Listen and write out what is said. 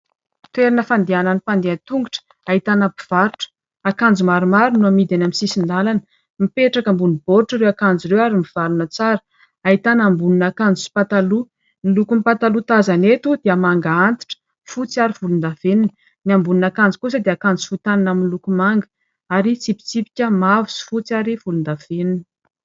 Toerana fandehanan' ny mpandeha an- tongotra ahitana mpivarotra, akanjo maromaro no hamidy eny amin'ny sisin- dalana. Mipetraka ambony boaritra ireo akanjo ireo ary mivalona tsara, ahitana ambonin' akanjo sy pataloha. Ny lokom-pataloha tazana eto dia manga antitra, fotsy, ary volon-davenona ny ambonin' akanjo kosa dia akanjo fohy tanana miloko manga ary mitsipitsipika mavo sy fotsy ary volon-davenona.